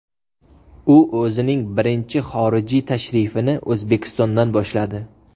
U o‘zining birinchi xorijiy tashrifini O‘zbekistondan boshladi.